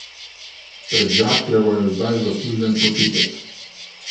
Pred Žakljevo je zdaj zaslužen počitek.